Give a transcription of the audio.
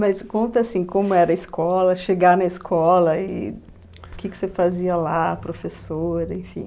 Mas conta, assim, como era a escola, chegar na escola e o que que você fazia lá, professora, enfim...